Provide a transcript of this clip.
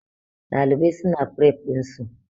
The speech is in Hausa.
Ɗalibai su na fref ɗin su